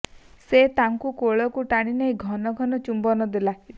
ସେ ତାକୁ କୋଳକୁ ଟାଣି ନେଇ ଘନ ଘନ ଚୁମ୍ୱନ ଦେଲା